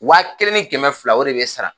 Waa kelen ni kɛmɛ fila o de bɛ sara